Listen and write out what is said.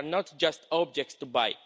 They are not just objects to buy.